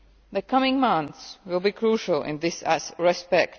The coming months will be crucial in this respect.